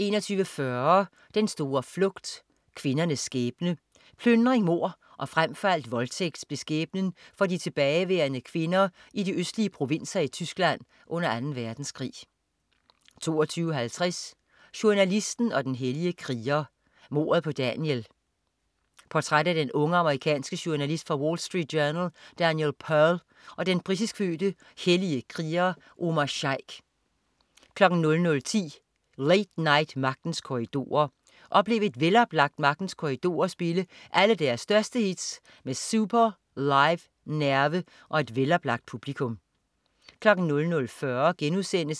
21.40 Den store flugt. Kvindernes skæbne. Plyndring, mord og frem for alt voldtægt blev skæbnen for de tilbageværende kvinder i de østlige provinser i Tyskland under Anden Verdenskrig 22.50 Journalisten og den hellige kriger. Mordet på Daniel. Portræt af den unge, amerikanske journalist fra Wall Street Journal, Daniel Pearl, og den britisk fødte, hellige kriger Omar Sheikh 00.10 Late Night Magtens Korridorer. oplev et veloplagt Magtens Korridorer spille alle deres største hits med super Live nerve og et veloplagt publikum 00.40